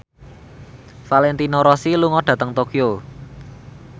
Valentino Rossi lunga dhateng Tokyo